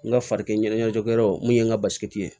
N ka farikɛ ɲɛnajɛkɛyɔrɔ mun ye n ka basi ye